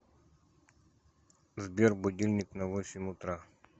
сбер будильник на восемь утра